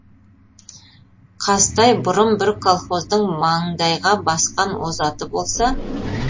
қазтай бұрын бір колхоздың маңдайға басқан озаты болса